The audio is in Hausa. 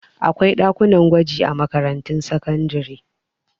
Akwai ɗakunan gwaji a makarantun sakandare.